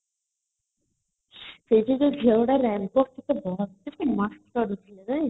ସେଠି ଯୋଉ ଝିଅଗୁଡାକ mast ଲାଗୁଥିଲା ନାଇଁ